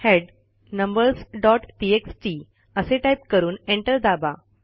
head numbersटीएक्सटी असे type करून एंटर दाबा